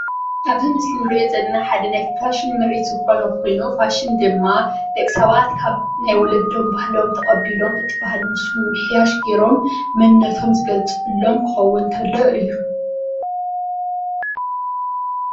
ኣብዚ ምስሊ እንሪኦ ዘለና ሓደ ናይ ፋሽን ምርኢት ዝኾነ ኮይኑ ፋሽን ድማ ደቂ ሰባት ካብ ናይ ወለዶም ባህሎም ተቐቢሎም ነቲ ባህሊ መሲሎም ሻሽ ጌሮም መንነቶም ዝገልፅሎም ክኸዉን ተሎ እዩ።